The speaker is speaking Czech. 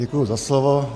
Děkuji za slovo.